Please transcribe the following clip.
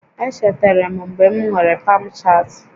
Echetere m mgbe m nwere Pamchat